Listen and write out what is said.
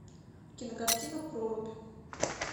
кинокартина прорубь